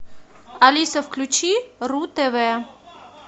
алиса включи ру тв